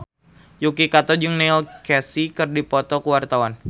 Yuki Kato jeung Neil Casey keur dipoto ku wartawan